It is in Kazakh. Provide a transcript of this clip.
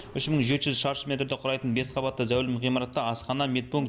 үш мың жеті жүз шаршы метрді құрайтын бес қабатты зәулім ғимаратта асхана медпункт